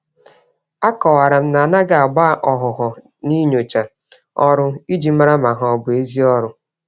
A kọwaram na anaghị agba-ọhụhọ n'inyocha ọrụ iji màrà ma ha bụ ezi ọrụ